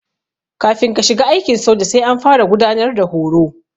Kafin ka shiga aikin soja sai an fara gudanar da horo.